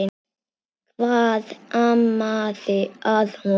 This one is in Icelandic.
Hvað amaði að honum?